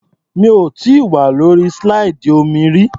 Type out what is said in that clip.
Mi ò tíì wà lórí slide omi rí.